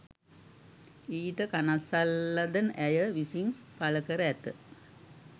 ඊට කනස්සල්ලද ඇය විසින් පළකර ඇත